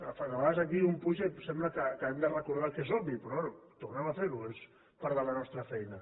de vegades aquí un puja i sembla que hàgim de recordar el que és obvi però bé tornem a fer ho és part de la nostra feina